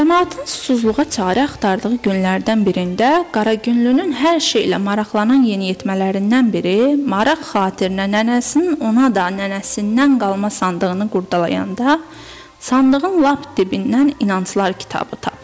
Camaatın susuzluğa çarə axtardığı günlərdən birində Qaragünlünün hər şeylə maraqlanan yeniyetmələrindən biri maraq xatirinə nənəsinin ona da nənəsindən qalma sandığını qurdalayanda sandığın lap dibindən inanclar kitabı tapır.